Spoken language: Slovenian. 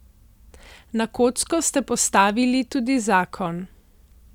Na kocko ste postavili tudi zakon ...